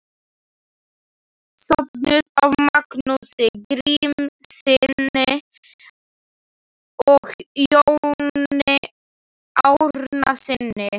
Söfnuð af Magnúsi Grímssyni og Jóni Árnasyni.